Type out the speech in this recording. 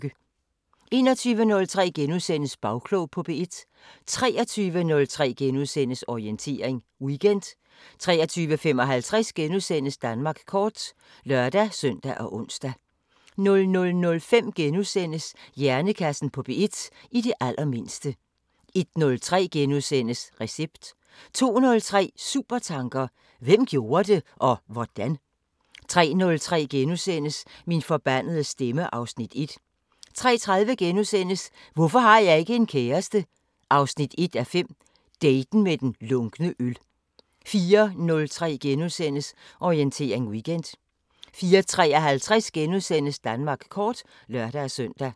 21:03: Bagklog på P1 * 23:03: Orientering Weekend * 23:55: Danmark kort *(lør-søn og ons) 00:05: Hjernekassen på P1: I det allermindste * 01:03: Recept * 02:03: Supertanker: Hvem gjorde det? Og hvordan? 03:03: Min forbandede stemme (Afs. 1)* 03:30: Hvorfor har jeg ikke en kæreste? 1:5 – daten med den lunkne øl * 04:03: Orientering Weekend * 04:53: Danmark kort *(lør-søn)